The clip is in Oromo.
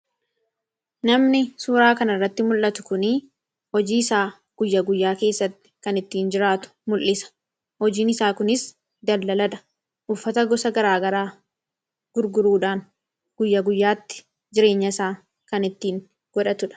Namni suuraa kana irratti mul'atu kunii hojii isaa guyya-guyyaa keessatti kan ittiin jiraatu mul'isa. Hojiin isaa kunis dallaladha . Uffata gosa garaa garaa gurguruudhaan guyya guyyaatti jireenya isaa kan ittiin godhatudha.